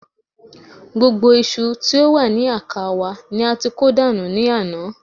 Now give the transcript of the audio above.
Gbogbo iṣu tí ó wà ní àká wa ni a ti kó dànù ní àná